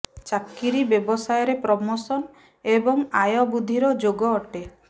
ଚାକିରି ବ୍ୟବସାୟରେ ପ୍ରମୋଶନ ଏବଂ ଆୟ ବୃଦ୍ଧିର ଯୋଗ ଅଟେ